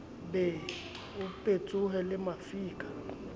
be ho petsohe le mafika